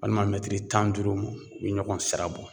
Walima mɛtiri tan ni duuru mɔ u bɛ ɲɔgɔn sira bɔ.